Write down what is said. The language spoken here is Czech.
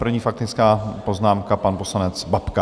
První faktická poznámka - pan poslanec Babka.